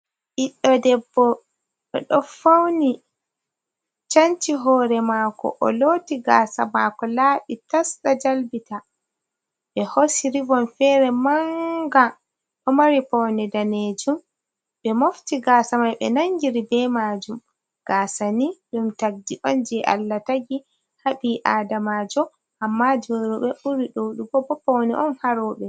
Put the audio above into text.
Ɓiɗɗo Debbo, oɗon fauni, canci hoore mako o loti gasa mako laaɓi tas ɗon jalbita, ɓe hoosi rivon fere manga ɗon mari paune danejum ɓe mofti gasa mai ɓe nangiri be majum, gasa ni ɗum tagdi on jei Allah tagi ha ɓii adamajo amma jei rewɓe ɓuri ɗuɗugo bo paune on ha rewɓe.